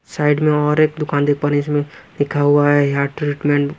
side में और एक दुकान देख पा रहे हैं इसमें लिखा हुआ है हेयर ट्रीटमेंट --